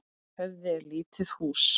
Höfði er lítið hús.